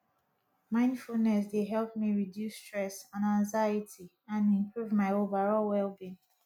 mindfulness dey help me reduce stress and anxiety and improve my overall wellbeing